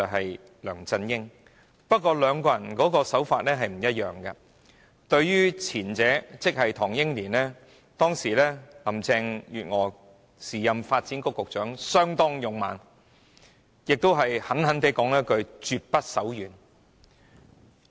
不過，林鄭月娥對兩宗個案的處理手法並不一致，對於涉及唐英年的個案，時任發展局局長的她相當勇猛，而且狠狠地說了一句"絕不手軟"。